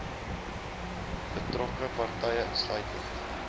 betrokke partye insluitend